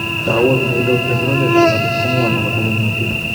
Kawot ne ilot eng rotet ap patet komwan ak kosape mutyo